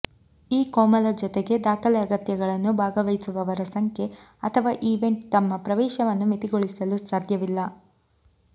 ಈ ಕೋಮಲ ಜೊತೆಗೆ ದಾಖಲೆ ಅಗತ್ಯಗಳನ್ನು ಭಾಗವಹಿಸುವವರ ಸಂಖ್ಯೆ ಅಥವಾ ಈವೆಂಟ್ ತಮ್ಮ ಪ್ರವೇಶವನ್ನು ಮಿತಿಗೊಳಿಸಲು ಸಾಧ್ಯವಿಲ್ಲ